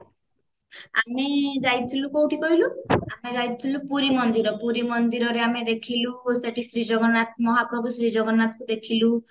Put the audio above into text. ଆମେ ଯାଇଥିଲୁ କୋଉଠି କହିଲୁ ଆମେ ଯାଇଥିଲୁ ପୁରି ମନ୍ଦିର ପୁରି ମନ୍ଦିର ରେ ଆମେ ଦେଖିଲୁ ସେଠି ଶ୍ରୀ ଜଗନ୍ନାଥ ମହାପ୍ରଭୁ ଶ୍ରୀ ଜଗନ୍ନାଥଙ୍କୁ ଦେଖିଲୁ